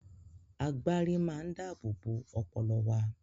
Agbárí máa ń dáábòbò ọpọlọ wa.